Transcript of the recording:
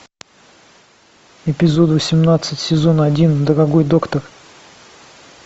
эпизод восемнадцать сезон один дорогой доктор